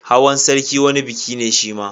Hawan sarki wani biki ne shima